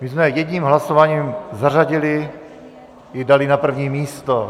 My jsme jedním hlasováním zařadili i dali na první místo.